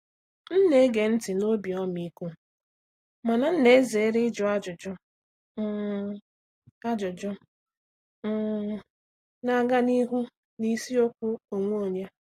M na-ege ntị n’obi ọmịiko mana m na-ezere ịjụ ajụjụ um ajụjụ um na-aga n’ihu n’isiokwu onwe onye.